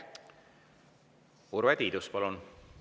Urve Tiidus, palun!